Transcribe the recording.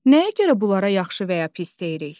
Nəyə görə bunlara yaxşı və ya pis deyirik?